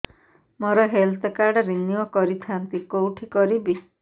ମୋର health card renew କରିଥାନ୍ତି କୋଉଠି କରିବି